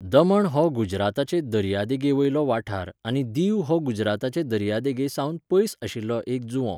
दमण हो गुजराताचे दर्यादेगे वयलो वाठार आनी दीव हो गुजराताचे दर्यादेगे सावन पयस आशिल्लो एक जुंवो.